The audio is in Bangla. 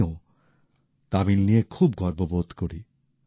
আমিও তামিল নিয়ে খুব গর্ব বোধ করি